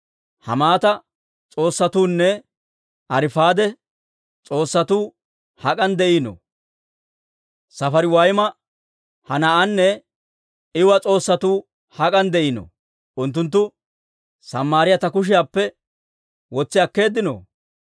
Hamaata s'oossatuunne Arifaade s'oossatuu hak'an de'iinoo? Safariwayma, Henaa'anne Iiwa s'oossatuu hak'an de'iinoo? Unttunttu Samaariyaa ta kushiyaappe wotsi akkeeddino?